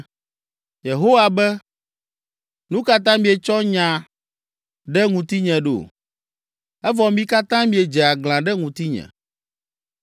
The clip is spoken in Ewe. Yehowa be, “Nu ka ta mietsɔ nya ɖe ŋutinye ɖo?” Evɔ mi katã miedze aglã ɖe ŋutinye.